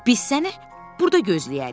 Biz səni burada gözləyərik.